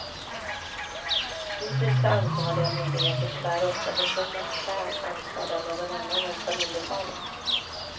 Hittills har ansvariga myndigheter tyvärr ofta försummat skäl anförda av någon annan än familjefadern.